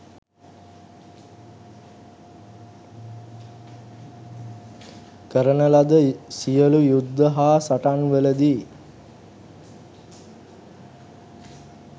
කරන ලද සියලු යුද්ධ හා සටන්වලදී